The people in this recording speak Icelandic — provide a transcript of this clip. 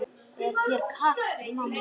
Er þér kalt mamma?